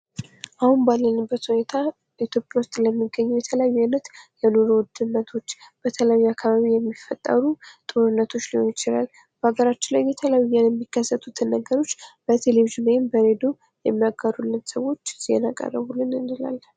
አሁን ባለንበት ሁኔታ በኢትዮጰያ ውስጠ ስለሚገኙ የተለያዩ ዓይነት ኑሮ ውድነትዎች በተለይ አካባቢዎች የሚፈጠሩ ጦርነቶች ሊሆኑ ይችላሉ በአገራችን ላይ የተለያዩ የሚከሰቱ ነገሮች በቴሌቪዥን ወይም በሬድዮ ይሚናገሩልን ሰዎች ዜና ቀረቡልን እንላለን።